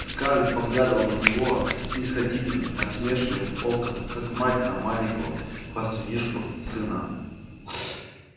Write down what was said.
скарлетт поглядывала на него снисходительно-насмешливым оком как мать на маленького хвастунишку-сына